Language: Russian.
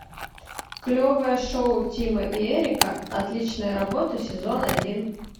клевое шоу тимы и эрика отличная работа сезон один